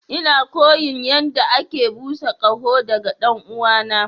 Ina koyon yadda ake busa ƙaho daga ɗan'uwana.